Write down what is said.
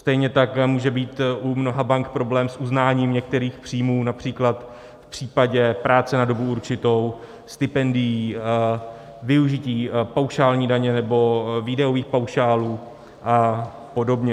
Stejně tak může být u mnoha bank problém s uznáním některých příjmů, například v případě práce na dobu určitou, stipendií, využití paušální daně nebo výdajových paušálů a podobně.